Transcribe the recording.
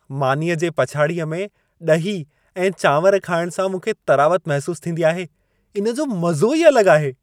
मानीअ जे पछाड़ीअ में ॾही ऐं चांवर खाइण सां मूंखे तरावत महसूसु थींदी आहे। इन जो मज़ो ई अलॻि आहे।